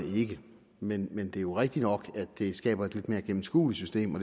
ikke men men det er jo rigtig nok at det skaber et lidt mere gennemskueligt system og